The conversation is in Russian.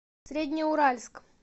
среднеуральск